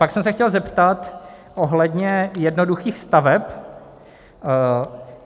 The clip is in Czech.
Pak jsem se chtěl zeptat ohledně jednoduchých staveb.